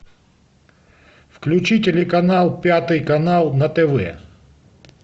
включи телеканал пятый канал на тв